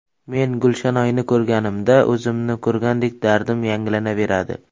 Men Gulshanoyni ko‘rganimda o‘zimni ko‘rgandek dardim yangilanaveradi.